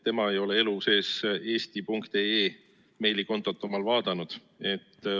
Tema ei ole elu sees oma eesti.ee meilikontot vaadanud.